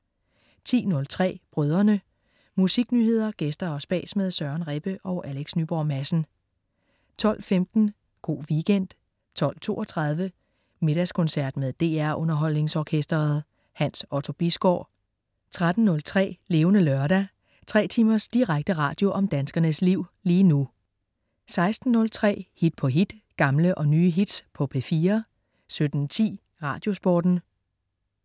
10.03 Brødrene. Musiknyheder, gæster og spas med Søren Rebbe og Alex Nyborg Madsen 12.15 Go' Weekend 12.32 Middagskoncert med DR Underholdningsorkestret. Hans Otto Bisgaard 13.03 Levende Lørdag. Tre timers direkte radio om danskernes liv lige nu 16.03 Hit på hit. Gamle og nye hits på P4 17.10 Radiosporten